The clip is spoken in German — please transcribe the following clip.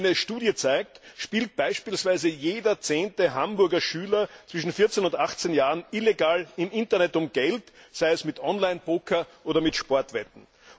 Wie eine Studie zeigt, spielt beispielsweise jeder zehnte Hamburger Schüler zwischen 14 und 18 Jahren illegal im Internet um Geld, sei es mit Online Poker oder mit Sportwetten.